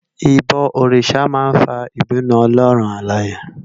Ibò órisá má n fá ibinú Òlòrún Àláyé